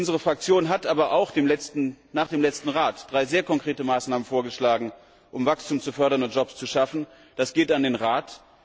Unsere Fraktion hat aber auch nach dem letzten Rat drei sehr konkrete Maßnahmen vorgeschlagen, um Wachstum zu fördern und Jobs zu schaffen. Das richtet sich an den Rat.